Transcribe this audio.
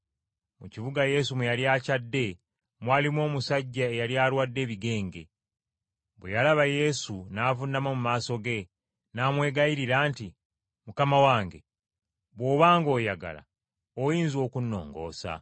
Mu kibuga Yesu mwe yali akyadde mwalimu omusajja eyali alwadde ebigenge. Bwe yalaba Yesu n’avuunama mu maaso ge, n’amwegayirira nti, “Mukama wange, bw’oba ng’oyagala, oyinza okunnongoosa.”